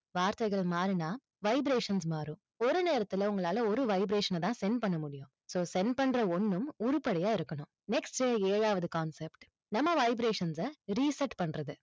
வார்த்தைகள் மாறினா vibrations மாறும். ஒரு நேரத்துல உங்களால, ஒரு vibration ன தான் send பண்ண முடியும் so send பண்ற ஒன்னும் உருப்படியா இருக்கணும் next ஏழாவது concept நம்ம vibrations அ reset பண்றது.